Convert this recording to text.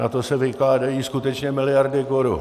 Na to se vykládají skutečně miliardy korun.